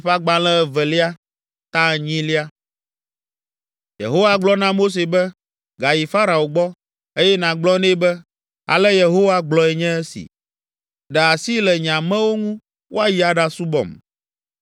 Yehowa gblɔ na Mose be, “Gayi Farao gbɔ, eye nàgblɔ nɛ be, ‘Ale Yehowa gblɔe nye si. Ɖe asi le nye amewo ŋu woayi aɖasubɔm.